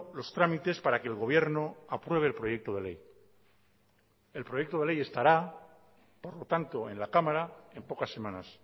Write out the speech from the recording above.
los trámites para que el gobierno apruebe el proyecto de ley el proyecto de ley estará por lo tanto en la cámara en pocas semanas